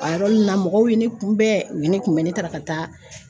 A yɔrɔ nin na mɔgɔw ye ne kunbɛn u ye ne kunbɛn ne taara ka taa